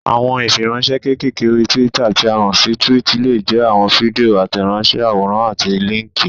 Àwọn ìfiránsẹ́ kékèké orí túwítà tí a mọ̀ sí túwìtì lè jẹ́ àwọn fídíò, àtẹ̀ránsẹ́, àwòrán àti líńkì.